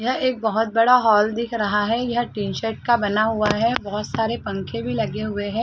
यहां एक बहुत बड़ा हॉल दिख रहा है यह टीनशर्ट का बना हुआ है बहुत सारे पंखे भी लगे हुए हैं।